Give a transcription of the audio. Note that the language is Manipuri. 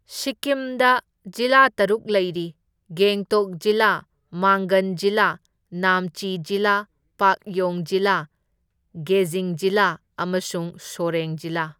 ꯁꯤꯛꯀꯤꯝꯗ ꯖꯤꯂꯥ ꯇꯔꯨꯛ ꯂꯩꯔꯤ, ꯒꯦꯡꯇꯣꯛ ꯖꯤꯂꯥ, ꯃꯥꯡꯒꯟ ꯖꯤꯂꯥ, ꯅꯥꯝꯆꯤ ꯖꯤꯂꯥ, ꯄꯥꯛꯌꯣꯡ ꯖꯤꯂꯥ, ꯒꯦꯖꯤꯡ ꯖꯤꯂꯥ ꯑꯃꯁꯨꯡ ꯁꯣꯔꯦꯡ ꯖꯤꯂꯥ꯫